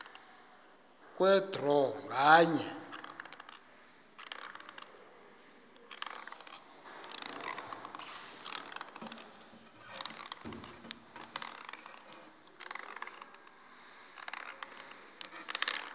kwe draw nganye